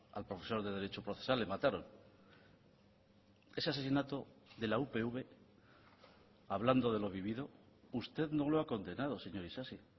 al profesor de derecho procesal le mataron ese asesinato de la upv hablando de lo vivido usted no lo ha condenado señor isasi